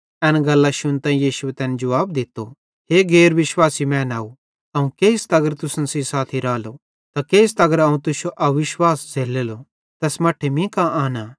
एन गल्लां शुन्तां यीशुए तैन जुवाब दित्तो हे गैर विश्वासी मैनाव अवं केइस तगर तुसन सेइं साथी रालो त केइस तगर अवं तुश्शो अविश्वास झ़ैल्ललो तैस मट्ठे मीं कां आनां